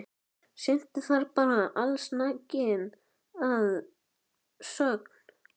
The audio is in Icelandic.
Syntu þar bara allsnakin að sögn.